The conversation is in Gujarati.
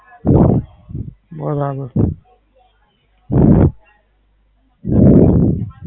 બરાબર.